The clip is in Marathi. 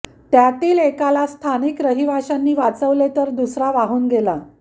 त्यातील एकाला स्थानिक रहिवाशांनी वाचवले तर दुसरा वाहून गेला